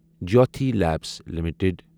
Jyothi labs limited